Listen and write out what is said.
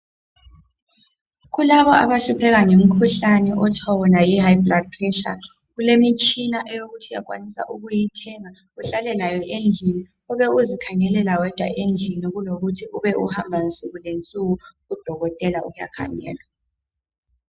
Kulabo abahlupheka ngemikhuhlane okuthiwa yi high blood pressure. Kulemitshina eyokuthi uyakwanisa ukuyithenga uhlale layo endlini une uzikhangelela wedwa endlini kulokuthi ube uhamba nsukuzonke kudokotela ukuyakhangelwa.